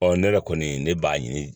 ne yɛrɛ kɔni ne b'a ɲini